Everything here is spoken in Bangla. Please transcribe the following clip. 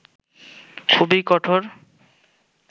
খুবই কঠোর